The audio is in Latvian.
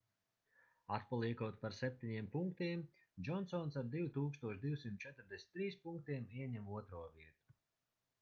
atpaliekot par 7 punktiem džonsons ar 2243 punktiem ieņem otro vietu